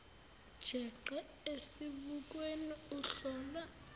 jeqe esibukweni uhlola